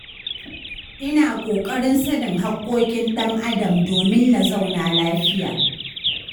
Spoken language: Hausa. Ina ƙoƙarin sanin haƙƙoƙin ɗan Adam domin na zauna lafiya.